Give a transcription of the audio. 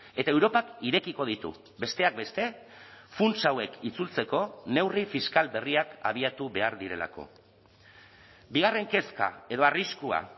eta europak irekiko ditu besteak beste funts hauek itzultzeko neurri fiskal berriak abiatu behar direlako bigarren kezka edo arriskua